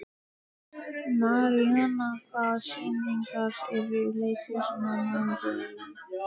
Maríana, hvaða sýningar eru í leikhúsinu á mánudaginn?